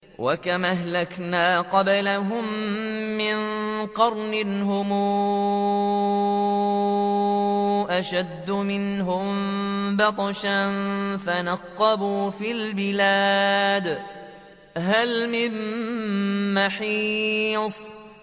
وَكَمْ أَهْلَكْنَا قَبْلَهُم مِّن قَرْنٍ هُمْ أَشَدُّ مِنْهُم بَطْشًا فَنَقَّبُوا فِي الْبِلَادِ هَلْ مِن مَّحِيصٍ